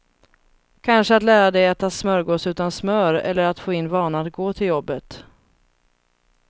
Kanske att lära dig äta smörgås utan smör eller att få in vanan att gå till jobbet.